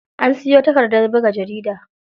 An siyo takardar buga jarida.